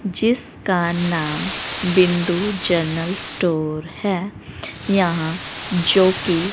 जिसका नाम Bindu general store है यहां जोकि--